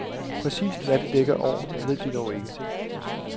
Præcist hvad det dækker over, ved de dog ikke.